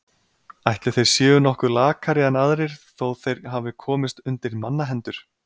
Ætli þeir séu nokkuð lakari en aðrir þó þeir hafi komist undir mannahendur.